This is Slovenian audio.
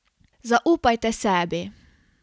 Zaupajte sebi.